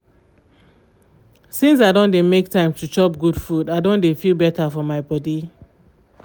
since i don dey make time to chop good food i don dey feel better for my body